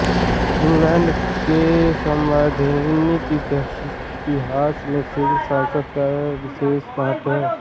England के संवैधानिक इतिहास में दीर्घ संसद का विशेष महत्त्व है